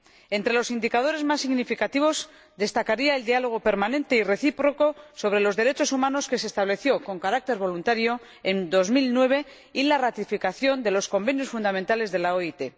Entre los indicadores más significativos destacaría el diálogo permanente y recíproco sobre los derechos humanos que se estableció con carácter voluntario en 2009, y la ratificación de los convenios fundamentales de la OIT.